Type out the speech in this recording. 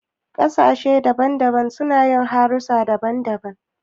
Ƙasashe mabanbanta suna yin harsuna mabanbanta.